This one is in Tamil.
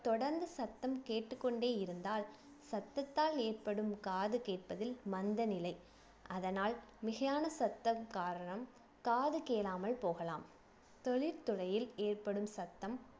தொடர்ந்து சத்தம் கேட்டுக் கொண்டே இருந்தால் சத்தத்தால் ஏற்படும் காது கேட்பதில் மந்த நிலை அதனால் மிகையான சத்தம் காரணம் காது கேளாமல் போகலாம் தொழில் துறையில் ஏற்படும் சத்தம்